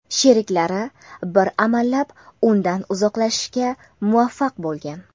Sheriklari bir amallab undan uzoqlashishga muvaffaq bo‘lgan.